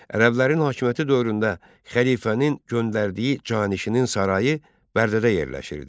Ərəblərin hakimiyyəti dövründə xəlifənin göndərdiyi canişinin sarayı Bərdədə yerləşirdi.